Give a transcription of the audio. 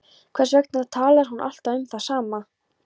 Hvers vegna talar hún alltaf um það sama?